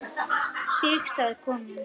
Þig sagði konan.